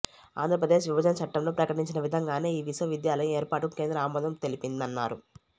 ఆంధ్రప్రదేశ్ విభజన చట్టంలో ప్రకటించిన విధంగానే ఈ విశ్వవిద్యాలయం ఏర్పాటుకు కేంద్ర ఆమోదం తెలిపిందన్నారు